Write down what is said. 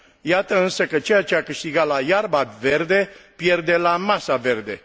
Iată însă că ceea ce a câștigat la iarba verde, pierde la masa verde.